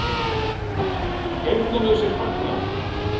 Heyrnarlausir fagna